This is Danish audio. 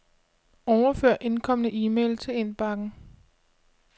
Overfør indkomne e-mail til indbakken.